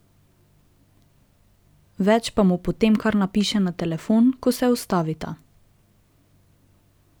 Več pa mu potem kar napiše na telefon, ko se ustavita.